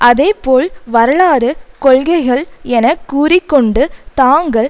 அதே போல் வரலாறு கொள்கைகள் என கூறி கொண்டு தாங்கள்